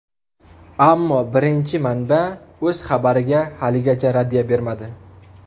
Ammo birinchi manba o‘z xabariga haligacha raddiya bermadi.